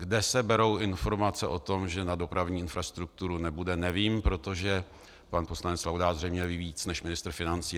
Kde se berou informace o tom, že na dopravní infrastrukturu nebude, nevím, protože pan poslanec Laudát zřejmě ví víc než ministr financí.